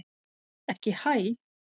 Ekki HÆ!